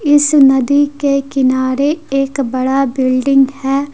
इस नदी के किनारे एक बड़ा बिल्डिंग है।